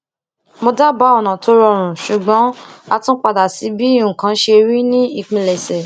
mo dábáà ọnà tó rọrùn ṣùgbọn a tún padà sí bí nǹkan ṣe rí ní ìpilèṣè